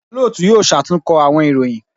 Olootu yoo ṣatunkọ awọn iroyin